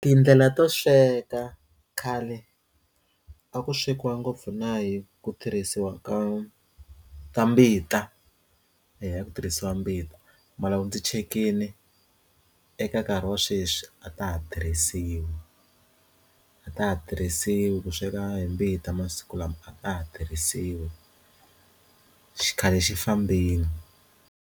Tindlela to sweka khale a ku swekiwa ngopfu na hi ku tirhisiwa ka ka mbita hi ya ku tirhisiwa mbita ma laha ndzi tshikile eka nkarhi wa sweswi a ta ha tirhisiwi a ta ha tirhisiwi ku sweka hi mbita masiku lama a ta ha tirhisiwi xikhale xi fambeni.